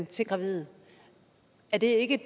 til gravide er det ikke